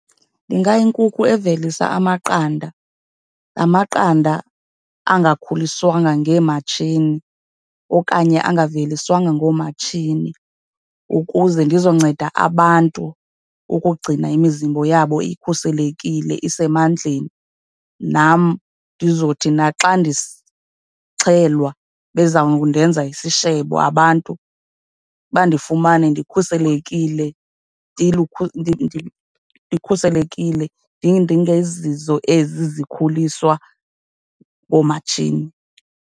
Ndingayinkukhu evelisa amaqanda, la maqanda angakhuliswanga ngeematshini okanye angaveliswanga ngoomatshini, ukuze ndizonceda abantu ukugcina imizimbo yabo ikhuselekile, isemandleni. Nam ndizothi naxa ndixhelwa, beza kundenza isishebo abantu, bandifumane ndikhuselekile ndikhuselekile, ndingezizo ezi zikhuliswa ngoomatshini.